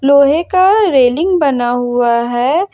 लोहे का रेलिंग बना हुआ है।